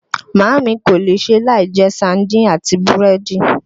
Màámi kò lè ṣe láì jẹ saaádìn àti búrẹ́dì